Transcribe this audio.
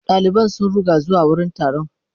Daliban sun ruga zuwa wurin taron.